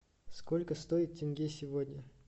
сколько стоит тенге сегодня